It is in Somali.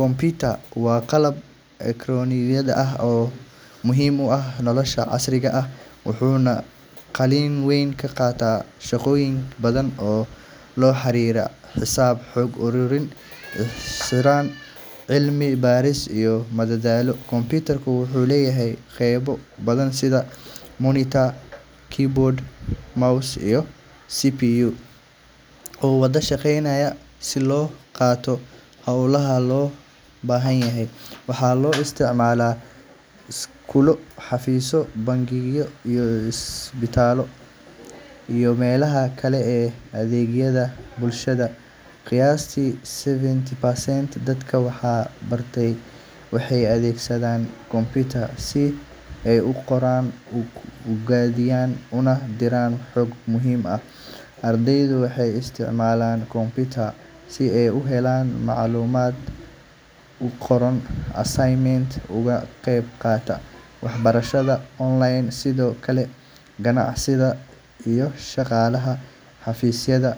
Computer waa qalab elektaroonig ah oo aad muhiim ugu ah nolosha casriga ah, wuxuuna kaalin weyn ka qaataa shaqooyin badan oo la xiriira xisaab, xog ururin, isgaarsiin, cilmi baaris iyo madadaalo. Computer wuxuu leeyahay qaybo badan sida monitor, keyboard, mouse, iyo CPU oo wada shaqeynaya si loo qabto howlaha loo baahan yahay. Waxaa loo isticmaalaa iskuulo, xafiisyo, bangiyo, isbitaallo, iyo meelaha kale ee adeegyada bulshada. Qiyaastii seventy percent dadka wax bartay waxay adeegsadaan computer si ay u qoraan, u kaydiyaan, una diraan xog muhiim ah. Ardaydu waxay isticmaalaan computer si ay u helaan macluumaad, u qoraan assignments, ugana qayb qaataan waxbarashada online. Sidoo kale, ganacsatada iyo shaqaalaha xafiisyada